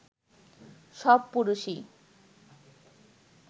সব পুরুষই